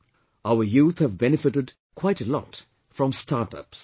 Our youth have benefitted quite a lot from 'StartUps'